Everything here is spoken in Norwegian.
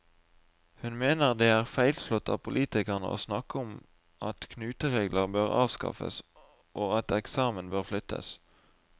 Hun mener det er feilslått av politikerne å snakke om at knuteregler bør avskaffes, og at eksamen bør flyttes.